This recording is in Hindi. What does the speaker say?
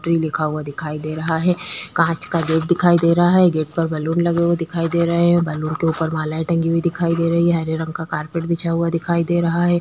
ट्री लिखा हुआ दिखाई दे रहा है काँच का गेट दिखा दे रहा है गेट पर बैलून लगे हुए दिखाई दे रहै है बैलून के ऊपर मालाएँ टंगी हुई दिखाई दे रही है हरे रंग का कारपेट बिछा हुआ दिखाई दे रहा हैं।